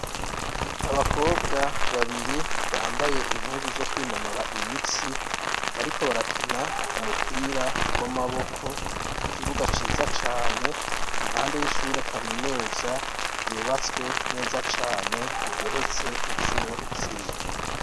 Abakobwa babiri bambaye impuzu zo kwinonora imitsi, bariko barakina umupira w'amaboko, mukibuga ciza cane, impande y'ishure kaminuza, yubatswe neza cane ,igeretswe incuro zine.